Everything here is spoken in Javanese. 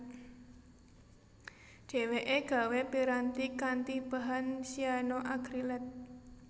Dheweke gawé piranti kanthi bahan cyanoacrylate